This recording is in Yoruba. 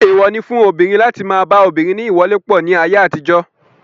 Èèwọ̀ fún obìnrin láti má a ba obìnrin ní ìwọlépọ̀ ní ayé àtijọ́.